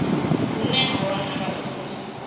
hune ha wanala uri hu